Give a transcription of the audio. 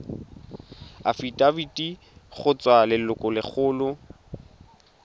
afitafiti go tswa go lelokolegolo